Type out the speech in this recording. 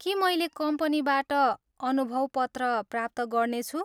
के मैले कम्पनीबाट अनुभव पत्र प्राप्त गर्नेछु?